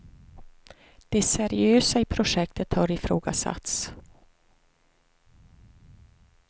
Det seriösa i projektet har ifrågasatts.